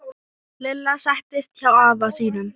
Lilla settist hjá afa sínum.